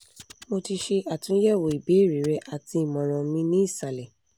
mo ti ṣe atunyẹwo ibeere rẹ ati imọran mi ni isalẹ